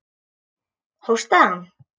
Hóstaði hann?